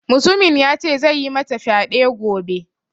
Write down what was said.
Mutumin ya ce zai yi mata fyade gobe.